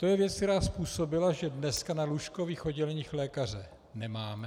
To je věc, která způsobila, že dnes na lůžkových odděleních lékaře nemáme.